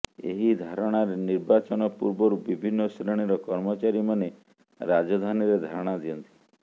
ଏହି ଧାରଣାରେ ନିର୍ବାଚନ ପୂର୍ବରୁ ବିଭିନ୍ନ ଶ୍ରେଣୀର କର୍ମଚାରୀମାନେ ରାଜଧାନୀରେ ଧାରଣା ଦିଅନ୍ତି